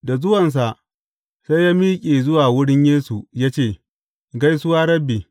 Da zuwansa, sai ya miƙe zuwa wurin Yesu ya ce, Gaisuwa, Rabbi!